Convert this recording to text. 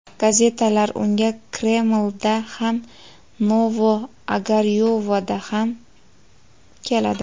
Gazetalar unga Kremlda ham, Novo-Ogaryovoda ham keladi.